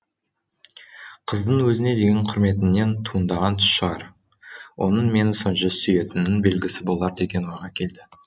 қыздың өзіне деген құрметінен туындаған түс шығар оның мені сонша сүйетінінің белгісі болар деген ойға келді